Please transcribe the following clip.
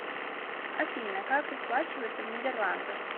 афина как расплачиваться в нидерландах